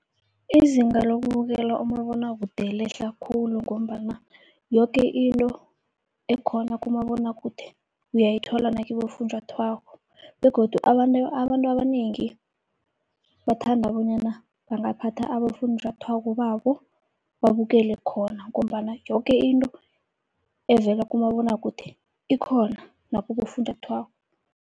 Izinga lokubukela umabonwakude lehla khulu, ngombana yoke into ekhona kumabonakude uyayithola nakibofunjathwako begodu abantu, abantu abanengi bathanda bonyana bangaphatha abofunjathwako babo babukele khona. Ngombana yoke into evela kumabonwakude ikhona nakibofunjathwako.